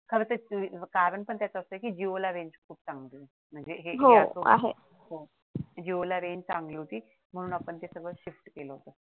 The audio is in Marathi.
खरं तर कारण पण त्याचं असं आहे की जिओ ला range खूप चांगली होती जिओ ला range चांगली होती म्हणून आपण ती shift केला